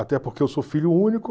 Até porque eu sou filho único.